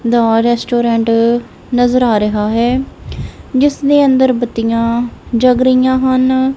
ਦਾ restaurant ਨਜ਼ਰ ਆ ਰਿਹਾ ਹੈ ਜਿਸ ਦੇ ਅੰਦਰ ਬਤੀਆਂ ਜਗ ਰਹੀਆਂ ਹਨ।